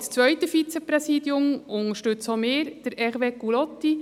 Für die Wahl des zweiten Vizepräsidiums unterstützen auch wir Hervé Gullotti.